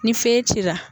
Ni fɛn cira